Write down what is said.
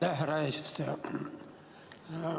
Aitäh, härra eesistuja!